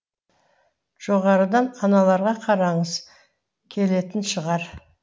жоғарыдан аналарға қарағыңыз келетін шығар